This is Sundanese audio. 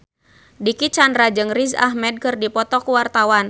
Dicky Chandra jeung Riz Ahmed keur dipoto ku wartawan